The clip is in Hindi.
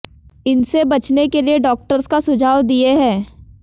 इनसे बचने के लिए डॉक्टर्स का सुझाव दिए है